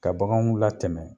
Ka baganw la tɛmɛ